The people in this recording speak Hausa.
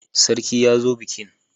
Sarki ya zo bikin.